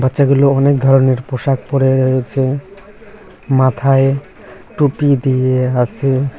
বাচ্চাগুলো অনেক ধরনের পোষাক পরে রয়েসে মাথায় টুপি দিয়ে আসে।